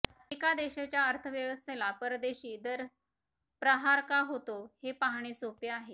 एका देशाच्या अर्थव्यवस्थेला परदेशी दर प्रहार का होतो हे पाहणे सोपे आहे